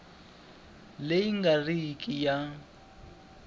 leyi nga ri ki ya